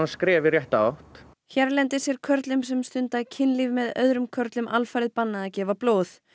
skref í rétt átt hérlendis er körlum sem stunda kynlíf með öðrum körlum alfarið bannað að gefa blóð